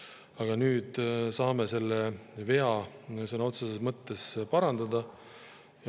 Aga nüüd saame selle vea sõna otseses mõttes parandada.